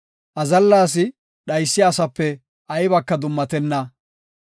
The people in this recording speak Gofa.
Azalla asi dhaysiya asape aybaka dummatenna.